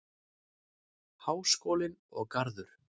Háskólinn og Garður.